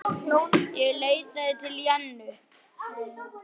Ég leitaði til Jennu.